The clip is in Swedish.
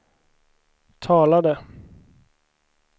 talade